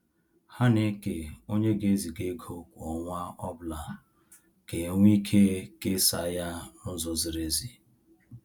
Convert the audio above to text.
Ha na-eke onye ga eziga ego kwa ọnwa ọbụla ka enwe ike kesa ya na-ụzọ ziri ezi